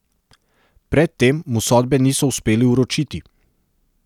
Pred tem mu sodbe niso uspeli vročiti.